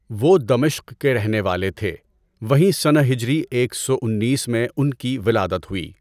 وہ دمشق کے رہنے والے تھے، وہیں سنہ ہجری ایک سو انیس میں ان کی ولادت ہوئی۔